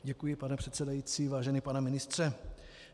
Děkuji, pane předsedající, vážený pane ministře.